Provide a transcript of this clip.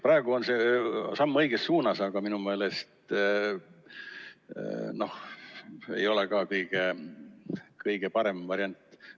Praegu on see samm õiges suunas, aga minu meelest ei ole siiski kõige parem variant.